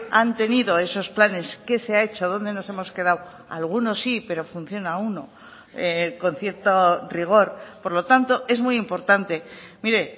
han tenido esos planes qué se ha hecho dónde nos hemos quedado algunos sí pero funciona uno con cierto rigor por lo tanto es muy importante mire